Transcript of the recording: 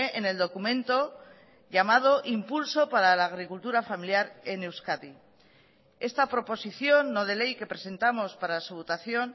en el documento llamado impulso para la agricultura familiar en euskadi esta proposición no de ley que presentamos para su votación